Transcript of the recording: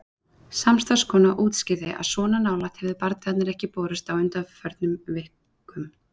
Samstarfskona útskýrði að svona nálægt hefðu bardagarnir ekki borist á undanförnum vikum.